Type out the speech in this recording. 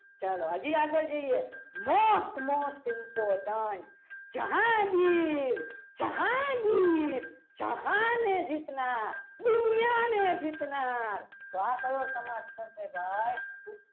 ચલો હજી આગળ જઈએ most most important Jahangir Jahangir જહાને જીતનાર દુનિયાને જીતનાર તો આ કયું સમાજ થશે ભાઈ.